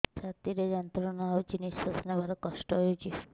ଛାତି ରେ ଯନ୍ତ୍ରଣା ହଉଛି ନିଶ୍ୱାସ ନେବାରେ କଷ୍ଟ ହଉଛି